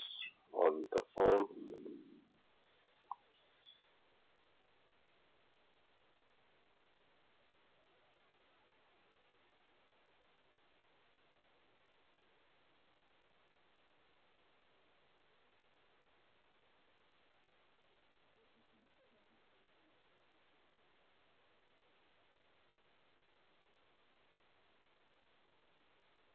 on the phone